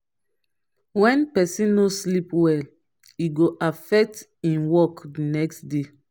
when pesin no sleep well e go affect e work the next day.